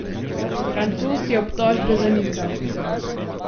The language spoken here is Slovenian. Francoz je obtožbe zanikal.